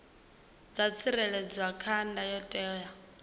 dza tsireledzwa kha ndayotewa ya